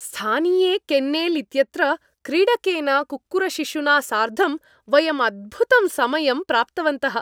स्थानीये kennel इत्यत्र क्रीडकेन कुक्कुरशिशुना सार्धं वयम् अद्भुतं समयं प्राप्तवन्तः।